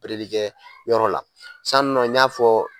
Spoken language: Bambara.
opereli kɛYɔrɔ la san ninɔ n y'a fɔ